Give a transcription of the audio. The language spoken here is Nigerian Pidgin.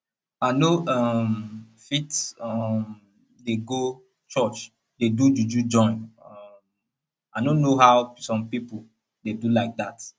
i no um fit um dey go church dey do juju join um i no know how some people dey do like that